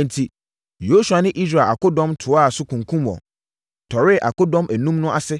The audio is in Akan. Enti, Yosua ne Israel akodɔm toaa so kunkumm wɔn, tɔree akodɔm enum no ase